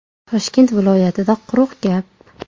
Toshkent viloyatida quruq gap.